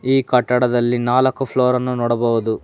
ಈ ಕಟ್ಟಡದಲ್ಲಿ ನಾಲಕ್ಕು ಫ್ಲೋರ್ ಅನ್ನು ನೋಡಬಹುದು.